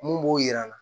Mun b'o yira na